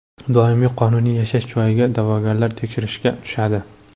Doimiy qonuniy yashash joyiga da’vogarlar tekshirishga tushadi.